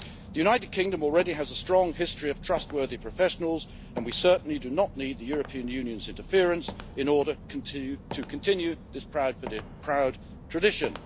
The United Kingdom already has a strong history of trustworthy professionals, and we certainly do not need the European Union's interference in order to continue this proud tradition.